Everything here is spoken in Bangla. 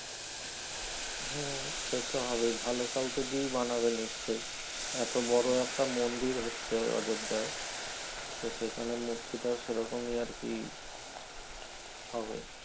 হ্যাঁ সে তো হবে ভালো কাউকে দিয়ে বানাবে নিশ্চয়ই এত বড় একটা মন্দির হচ্ছে অযদায় তো সেখানে মূর্তি টাও সে রকমই আর কি হবে